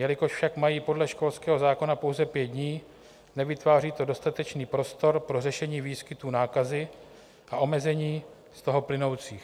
Jelikož však mají podle školského zákona pouze pět dní, nevytváří to dostatečný prostor pro řešení výskytu nákazy a omezení z toho plynoucích.